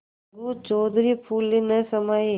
अलगू चौधरी फूले न समाये